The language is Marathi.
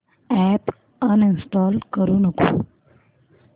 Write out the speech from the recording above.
अॅप अनइंस्टॉल करू नको